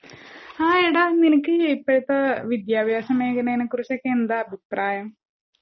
ആ എടാ നിനക്ക് ഇപ്പഴത്തേ വിദ്യഭ്യാസമേഗനേനെകുറിച്ചൊക്കെ എന്താ അഭിപ്രായം?